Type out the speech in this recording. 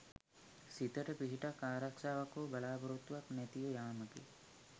සිතට පිහිටක් ආරක්ෂාවක් හෝ බලාපොරොත්තුවක් නැතිව යාමකි.